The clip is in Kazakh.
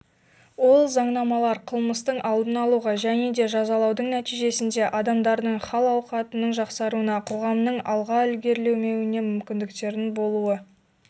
ол заңнамалар қылмыстың алдын алуға және де жазалаудың нәтижесінде адамдардың хал-ауқатының жақсаруына қоғамның алға ілгерілеуіне мүмкіндіктердің болу